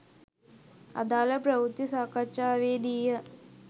අදාළ ප්‍රවෘත්ති සාකච්ඡාවේදීය.